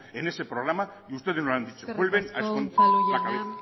en ese programa y ustedes no lo han dicho vuelven a esconder la cabeza eskerrik asko unzalu jauna